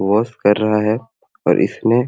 वाश कर रहा है और इसमें--